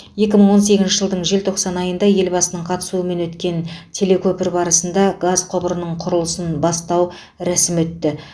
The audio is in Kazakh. екі мың он сегізінші жылдың желтоқсан айында елбасының қатысуымен өткен телекөпір барысында газ құбырының құрылысын бастау рәсімі өтті